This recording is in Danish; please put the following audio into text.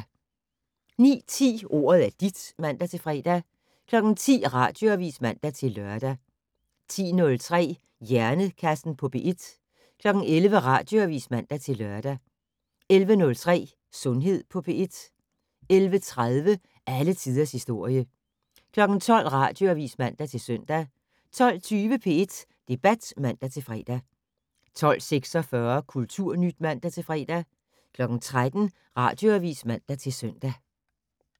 09:10: Ordet er dit (man-fre) 10:00: Radioavis (man-lør) 10:03: Hjernekassen på P1 11:00: Radioavis (man-lør) 11:03: Sundhed på P1 11:30: Alle tiders historie 12:00: Radioavis (man-søn) 12:20: P1 Debat (man-fre) 12:46: Kulturnyt (man-fre) 13:00: Radioavis (man-søn)